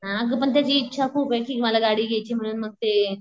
आग पण त्याची इच्छा खूप कि मला गाडी घ्यायची म्हणून मग ते